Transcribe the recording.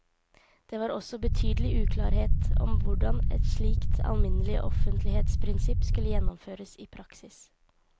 Det var også betydelig uklarhet om hvordan et slikt alminnelig offentlighetsprinsipp skulle gjennomføres i praksis.